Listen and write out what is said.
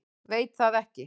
Veit það ekki.